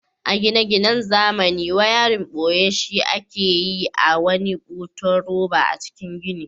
A gine-ginan zamani wayarin boye shi ake a wani butun roba a cikin gini.